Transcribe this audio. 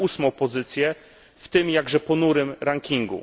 na 8. pozycję w tym, jakże ponurym, rankingu.